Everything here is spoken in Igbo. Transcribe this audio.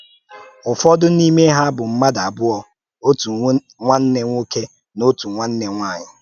Ụ́fọ̀dù n’ímè ha bụ̀ mmádụ abụọ̀, òtù nwanne nwòké na òtù nwanne nwànyị